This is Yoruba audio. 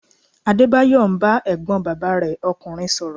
Adébáyọ̀ ń bá ẹ̀gbọ́n bàbá rẹ ọkùnrin sọ̀rọ̀